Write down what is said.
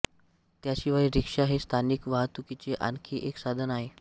त्याशिवाय रिक्षा हे स्थानिक वाहतुकीचे आणखी एक साधन आहे